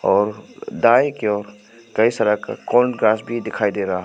और दाएं की ओर कई सारा क्रॉस भी दिखाई दे रहा--